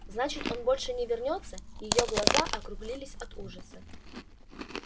значит он больше не вернётся её глаза округлились от ужаса